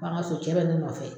B'an ŋa so, cɛ bɛ ne nɔfɛ.